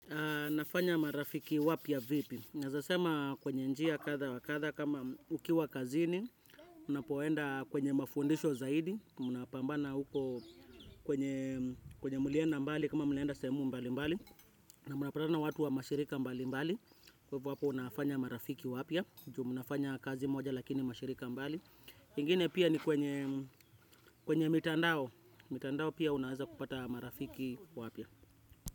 Nafanya marafiki wapya vipi? Naezasema kwenye njia katha wakatha kama ukiwa kazini, unapoenda kwenye mafundisho zaidi, mnapambana huko kwenye kwenye mulienda mbali, kama mnaenda sehemu mbali mbali, na mnapatana na watu wa mashirika mbali mbali, kwa hivo hapo unafanya marafiki wapya, juu mnafanya kazi moja lakini mashirika mbali. Hingine pia ni kwenye mitandao, mitandao pia unaeza kupata marafiki wapya.